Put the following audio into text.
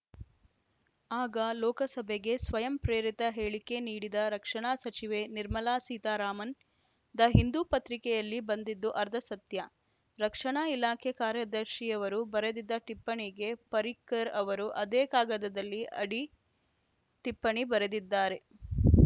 ಆಗ ಲೋಕಸಭೆಗೆ ಸ್ವಯಂಪ್ರೇರಿತ ಹೇಳಿಕೆ ನೀಡಿದ ರಕ್ಷಣಾ ಸಚಿವೆ ನಿರ್ಮಲಾ ಸೀತಾರಾಮನ್‌ ದ ಹಿಂದೂ ಪತ್ರಿಕೆಯಲ್ಲಿ ಬಂದಿದ್ದು ಅರ್ಧ ಸತ್ಯ ರಕ್ಷಣಾ ಇಲಾಖೆ ಕಾರ್ಯದರ್ಶಿಯವರು ಬರೆದಿದ್ದ ಟಿಪ್ಪಣಿಗೆ ಪರ್ರಿಕರ್‌ ಅವರು ಅದೇ ಕಾಗದದಲ್ಲಿ ಅಡಿ ಟಿಪ್ಪಣಿ ಬರೆದಿದ್ದಾರೆ